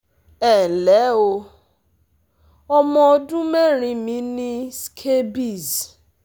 Ẹ ǹ lẹ́ o, ọmọ ọdún mẹ́rin mi ní scabies